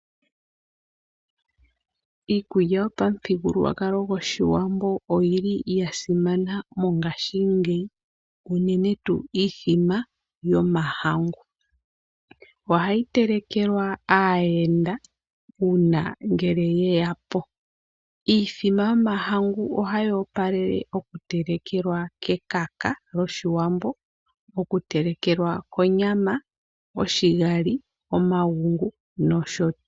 Iikulya yo pamuthigululwa kalo gwoshiwambo oyi yasimana mongashingeyi unene tuu iimbombo yomahangu. Ohayi telekelwa aayenda una ngele yeya po. Iimbombo yomahangu ohayi opalele oku telekelwa kekaka loshiwambo, oku telekelwa konyama , oshigali, omagungu noshotu.